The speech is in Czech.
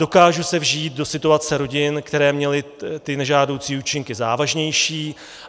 Dokážu se vžít do situace rodin, které měly ty nežádoucí účinky závažnější.